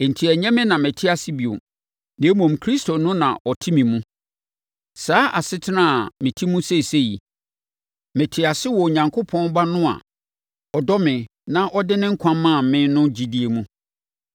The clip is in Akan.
enti ɛnyɛ me na mete ase bio, na mmom, Kristo no na ɔte me mu. Saa asetena a mete mu seesei yi, mete ase wɔ Onyankopɔn Ba no a ɔdɔ me na ɔde ne nkwa maa me no gyidie mu.